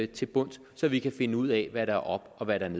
til bunds så vi kan finde ud af hvad der er op og hvad der er